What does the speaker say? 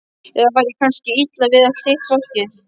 Eða var þér kannski illa við allt hitt fólkið.